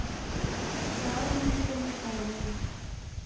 tla o lebile letshwao leno